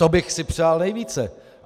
To bych si přál nejvíce.